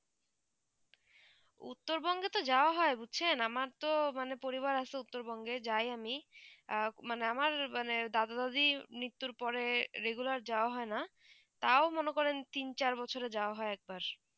উত্তর বংগো তো যাওবা হয়ে বুঝছেন আমার তো পরিবার আছে উত্তর বঙ্গে যায় আমি আর আমার মানে দাদা দাদি নিতুর পরে regular যাওবা হয়ে না তাও মনে করেন তিন চার বছরে যাওবা হয়ে এক বার